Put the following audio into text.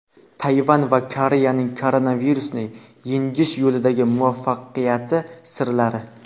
Tayvan va Koreyaning koronavirusni yengish yo‘lidagi muvaffaqiyati sirlari.